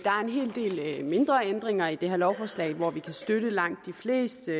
hel del mindre ændringer i det her lovforslag og vi kan støtte langt de fleste